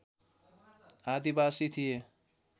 आदिवासी थिए